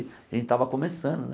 A gente estava começando, né?